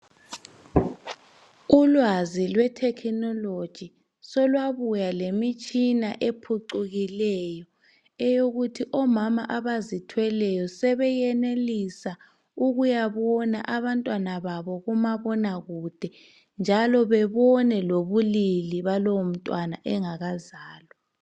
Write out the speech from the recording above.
Ulwazi lwe"technology" solwabuya lemitshina ephucukileyo eyokuthi omama abazithweleyo sebeyenelisa ukuyabona abantwana babo kumabonakude njalo bebone lobulili balowo mntwana engakazalwa.